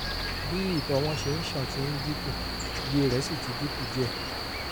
bí ìtọ̀ wọn ṣe ń ṣàn ti ń dínkù iye rẹ̀ sì ti dínkù díẹ̀